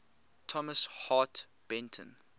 thomas hart benton